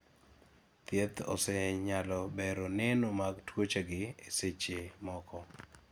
thieth osenyalo bero neno mag tuoche gi e seche moko